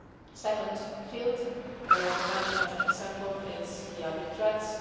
The second field that I would mention as an example is hybrid threats.